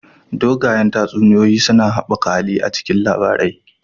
Dogayen tatsuniyoyi suna haɓaka hali a cikin labarai